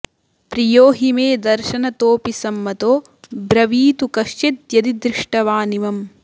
प्रियो हि मे दर्शनतोपि संमतो ब्रवीतु कश्चिद्यदि दृष्टवानिमम्